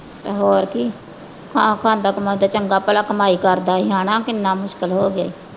ਤੇ ਹੋਰ ਕੀ ਹਾਂ ਖਾਂਦਾ ਕਮਾਉਂਦਾ ਚੰਗਾ ਭਲਾ ਕਮਾਈ ਕਰਦਾ ਸੀ ਹਨਾ ਕਿੰਨਾ ਮੁਸ਼ਕਿਲ ਹੋ ਗਿਆ ਈ।